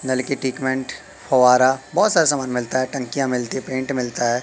की ट्रीटमेंट फुव्वारा बहोत सारे सामान मिलता है टंकिया मिलती है पेंट मिलता है।